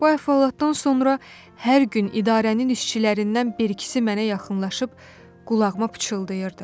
Bu əhvalatdan sonra hər gün idarənin işçilərindən bir-ikisi mənə yaxınlaşıb qulağıma pıçıldayırdı: